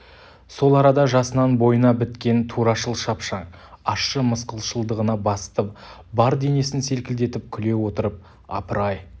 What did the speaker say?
сол арада жасынан бойына біткен турашыл шапшаң ащы мысқылшылдығына басты бар денесін селкілдетіп күле отырып апыр-ай